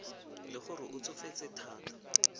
le gore o tsofetse thata